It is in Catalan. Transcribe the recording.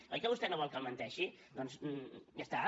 oi que vostè no vol que li menteixi doncs ja està